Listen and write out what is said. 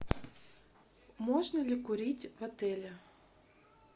можно ли курить в отеле